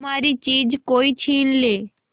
हमारी चीज कोई छीन ले